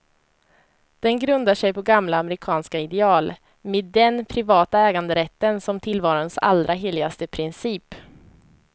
Den grundar sig på gamla amerikanska ideal, med den privata äganderätten som tillvarons allra heligaste princip.